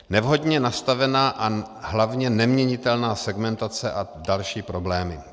Nevhodně nastavená a hlavně neměnitelná segmentace a další problémy.